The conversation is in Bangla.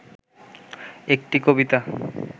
একটি কবিতা